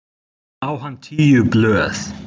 Núna á hann tíu blöð.